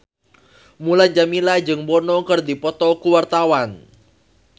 Mulan Jameela jeung Bono keur dipoto ku wartawan